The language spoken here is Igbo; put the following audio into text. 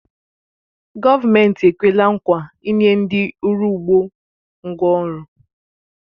Gọọmenti ekwela nkwa inye ndị uru ugbo ngwá ọrụ